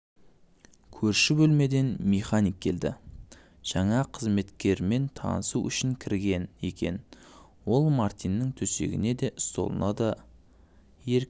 көрші бөлмеден механик келді жаңа қызметкермен танысу үшін кірген екен ол мартиннің төсегіне де столына да еркін